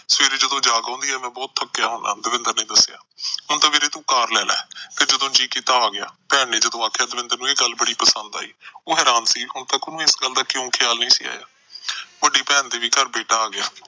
ਸਵੇਰੇ ਜਦੋਂ ਜਾਗ ਆਉਂਦੀ ਆ, ਮੈਂ ਬਹੁਤ ਥੱਕਿਆ ਹੁੰਦਾ, ਦਵਿੰਦਰ ਨੇ ਦੱਸਿਆ। ਹੁਣ ਤਾਂ ਵੀਰੇ ਤੂੰ car ਲੈ ਲੈ, ਜਦੋਂ ਜੀਅ ਕੀਤਾ, ਆ ਗਿਆ। ਭੈਣ ਨੇ ਜਦੋਂ ਆਖਿਆ ਦਵਿੰਦਰ ਨੂੰ ਇਹ ਗੱਲ ਬੜੀ ਪਸੰਦ ਆਈ। ਉਹ ਹੈਰਾਨ ਸੀ, ਹਾਲੇ ਤੱਕ ਉਹਨੂੰ ਇਸ ਗੱਲ ਦਾ ਖਿਆਲ ਕਿਉਂ ਨਹੀਂ ਸੀ ਆਇਆ। ਵੱਡੀ ਭੈਣ ਦੇ ਵੀ ਘਰ ਬੇਟਾ ਆ ਗਿਆ।